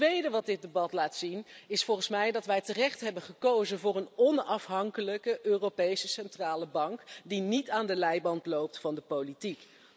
Het tweede dat dit debat laat zien, is volgens mij dat wij terecht hebben gekozen voor een onafhankelijke Europese Centrale Bank, die niet aan de leiband loopt van de politiek.